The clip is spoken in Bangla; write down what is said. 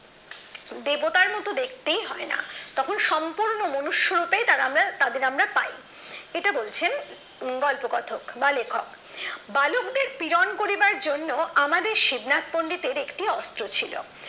দেবতার মতো দেখতেই হয় না তখন সম্পূর্ণ মনুষ্য রূপে তাদের আমরা পাই এটা বলছেন গল্পকথক বা লেখক বালকদের প্রেরণ করিবার জন্য আমাদের শিবনাথ পন্ডিতের একটি অস্ত্র ছিল